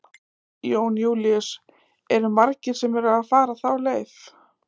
Jón Júlíus: Eru margir sem eru að fara þá leið?